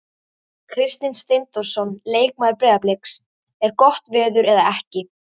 Kristinn Steindórsson leikmaður Breiðabliks: Er gott veður eða ekki?